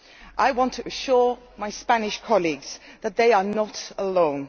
I want to assure my Spanish colleagues that they are not alone.